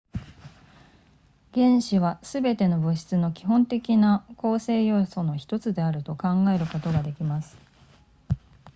原子はすべての物質の基本的な構成要素の1つであると考えることができます